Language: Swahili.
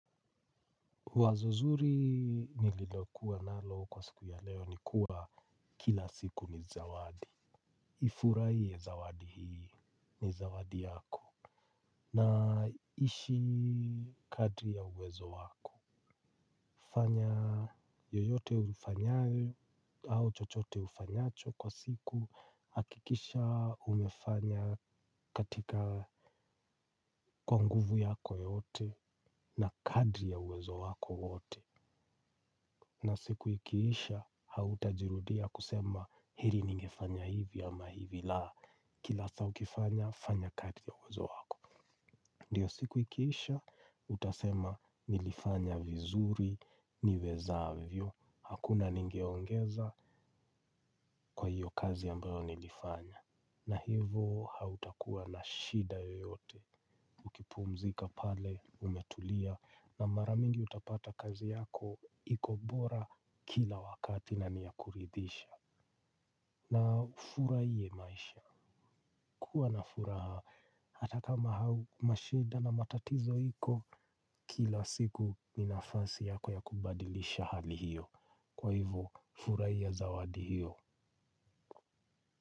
Wazo zuri nililokuwa nalo kwa siku ya leo ni kuwa kila siku ni zawadi. Ifuraie zawadi hii ni zawadi yako. Na ishi kadri ya uwezo wako. Fanya yoyote ufanyayo au chochote ufanyacho kwa siku hakikisha umefanya katika kwa nguvu yako yote na kadri ya uwezo wako wote na siku ikiisha hautajirudia kusema heri ningefanya ivi au la kila siku fanya kadri ya uwezo wako. Ndiyo siku ikiisha utasema nilifanya vizuri niwezavyo. Hakuna nigeongeza kwa hiyo kazi ambayo nilifanya. Na hivo hautakuwa na shida yoyote. Ukipumzika pale umetulia na mara mingi utapata kazi yako iko bora kila wakati na ni yakuridhisha. Na ufurahie maisha kuwa na furaha hata kama au mashida na matatizo iko kila siku ni nafasi yako ya kubadilisha hali hiyo. Kwa hivo furahia zawadi hiyo.